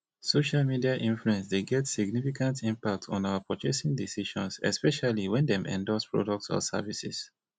social media influence dey get significant impact on our purchasing decisions especially when dem endorse products or services